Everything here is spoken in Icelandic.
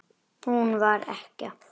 Hún var ekkja.